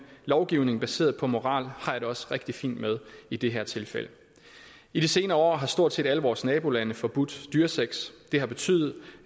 lovgivning baseret på moral har jeg det også rigtig fint med i det her tilfælde i de senere år har stort set alle vores nabolande forbudt dyresex det har betydet